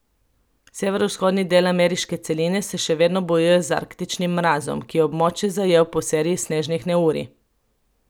Severovzhodni del ameriške celine se še vedno bojuje z arktičnim mrazom, ki je območje zajel po seriji snežnih neurij.